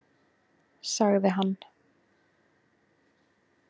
Sagði hann.